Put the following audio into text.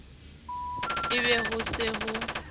e be ho se ho